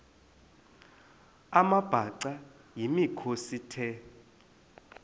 amabhaca yimikhosi the